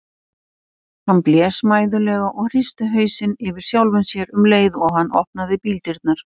Hann blés mæðulega og hristi hausinn yfir sjálfum sér um leið og hann opnaði bíldyrnar.